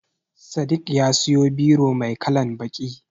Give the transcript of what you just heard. Sadiq ya siyo biro mai kalan baƙi.